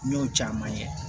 N y'o caman ye